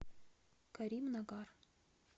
каримнагар